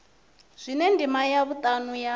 zwine ndima ya vhutanu ya